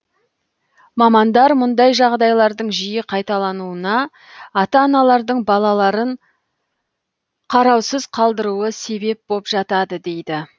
мамандар мұндай жағдайлардың жиі қайталануына ата аналардың балаларын қараусыз қалдыруы себеп боп жатады дейді